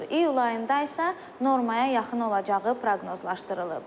İyul ayında isə normaya yaxın olacağı proqnozlaşdırılıb.